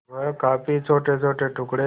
वह काफी छोटेछोटे टुकड़े